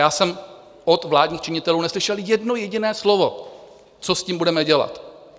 Já jsem od vládních činitelů neslyšel jedno jediné slovo, co s tím budeme dělat.